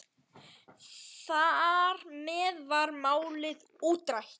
Þar með var málið útrætt.